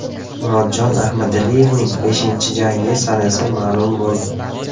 Murodjon Ahmadaliyevning beshinchi jangi sanasi ma’lum bo‘ldi.